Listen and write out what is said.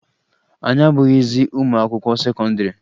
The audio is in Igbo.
Anyị abụghịzị ụmụ akwụkwọ sekọndịrị